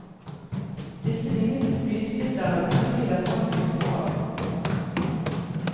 Disse vingete spydspisser er uten tvil av frankisk opphav.